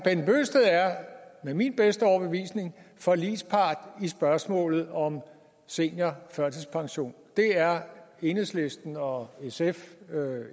med min bedste overbevisning forligspart i spørgsmålet om seniorførtidspension det er enhedslisten og sf